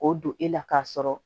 K'o don e la k'a sɔrɔ